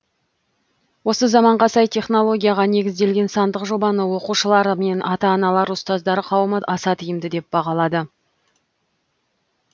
осы заманға сай технологияға негізделген сандық жобаны оқушылар мен ата аналар ұстаздар қауымы аса тиімді деп бағалады